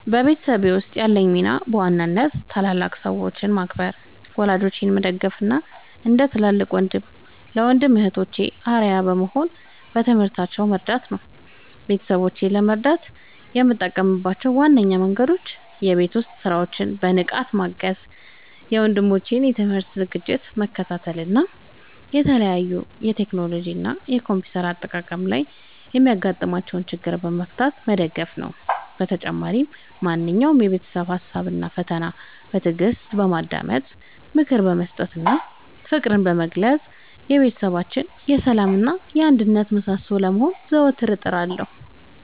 በቤተሰቤ ውስጥ ያለኝ ሚና በዋናነት ታላላቅ ሰዎችን ማክበር፣ ወላጆቼን መደገፍ እና እንደ ትልቅ ወንድም ለወንድም እና እህቶቼ አርአያ በመሆን በትምህርታቸው መርዳት ነው። ቤተሰቦቼን ለመርዳት የምጠቀምባቸው ዋነኞቹ መንገዶች የቤት ውስጥ ሥራዎችን በንቃት ማገዝ፣ የወንድሞቼን የትምህርት ዝግጅት መከታተል እና በተለይም በቴክኖሎጂ እና በኮምፒውተር አጠቃቀም ላይ የሚያጋጥሟቸውን ችግሮች በመፍታት መደገፍ ነው። በተጨማሪም ማንኛውንም የቤተሰብ ሀሳብ እና ፈተና በትዕግስት በማዳመጥ፣ ምክር በመስጠት እና ፍቅርን በመለገስ የቤታችን የሰላም እና የአንድነት ምሰሶ ለመሆን ዘወትር እጥራለሁ።